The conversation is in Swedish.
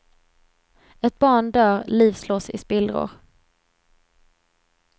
Ett barn dör, liv slås i spillror.